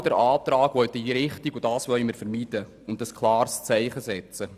Mit diesem Antrag wollen wir das vermeiden und ein klares Zeichen setzen.